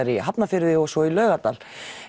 í Hafnarfirði og svo í Laugardal